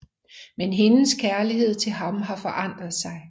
Men hendes kærlighed til ham har forandret sig